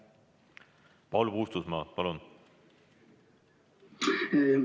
Paul Puustusmaa, palun!